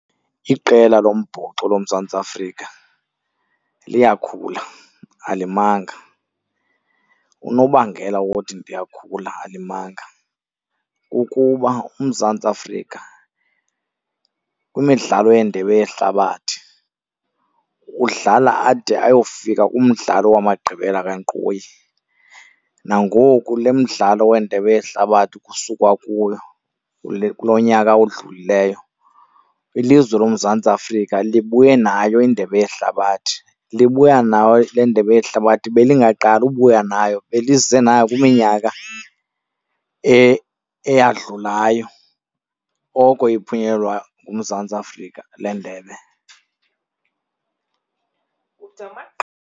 Iqela lombhoxo loMzantsi Afrika liyakhula, alimanga. Unobangela wothi liyakhula alimanga kukuba uMzantsi Afrika kwimidlalo yeNdebe yeHlabathi udlala ade ayofika kumdlalo wamagqibela kankqoyi. Nangoku le mdlalo weNdebe yeHlabathi kusukwa kuyo kulo nyaka odlulileyo ilizwe loMzantsi Afrika libuye nayo iNdebe yeHlabathi. Libuya nayo le Ndebe yeHlabathi belingaqali ubuya nayo, belize nayo kwiminyaka eyadlulayo, oko iphunyelelwa nguMzantsi Afrika le ndebe.